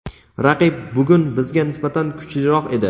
Raqib bugun bizga nisbatan kuchliroq edi.